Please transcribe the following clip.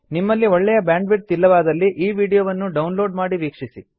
ನಿಮ್ಮಲ್ಲಿ ಒಳ್ಳೆಯ bandwidth ಇಲ್ಲವಾದಲ್ಲಿ ಈ ವೀಡಿಯೋವನ್ನು ಡೌನ್ ಲೋಡ್ ಮಾಡಿ ವೀಕ್ಷಿಸಿ